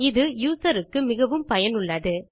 இது யூசர் க்கு மிகவும் பயனுள்ளது